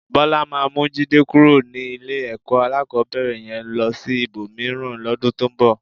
Bọ́lá máa mú Jídé kúrò ní ilé-ẹ̀kọ́ alákọ̀ọ́bẹ̀rẹ̀ yẹn lọ sí ibòmíràn lọ́dún tó ń bọ̀.